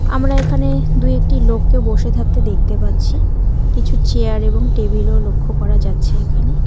আমরা এখানে দুই একটি লোককে বসে থাকতে দেখতে পাচ্ছি কিছু চেয়ার এবং টেবিল -ও লক্ষ করা যাচ্ছে এখানে।